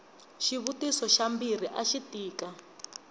xivutiso xa mbirhi axi tika